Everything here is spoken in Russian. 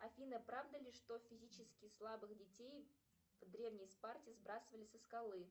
афина правда ли что физически слабых детей в древней спарте сбрасывали со скалы